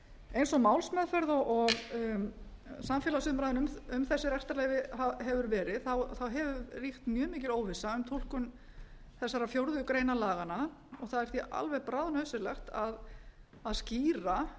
eins og málsmeðferð og samfélagsumræðan um þessi rekstrarleyfi hefur verið þá hefur ríkt mjög mikil óvissa um túlkun þesssarar fjórðu grein laganna og það er því alveg bráðnauðsynlegt að skýra